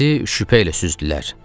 Bizi şübhə ilə süzdülər.